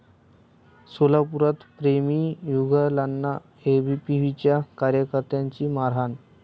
सोलापुरात प्रेमी युगुलांना एबीव्हीपीच्या कार्यकर्त्यांची मारहाण